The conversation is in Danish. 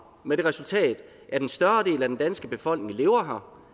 med det resultat at en større del af den danske befolkning lever her